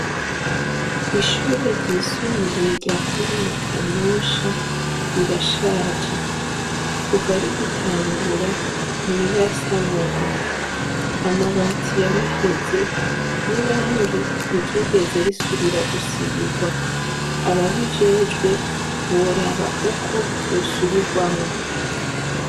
Ishure ryisumbuye rya comine Kanyosha, rirashaje. Kuva rigitangura, ntirirasanurwa. Amabati yaraheje, n' irangi ntiryigeze risubira gusirwa . Ababijejwe boraba ukwo ryosubirwamwo.